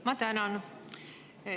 Ma tänan!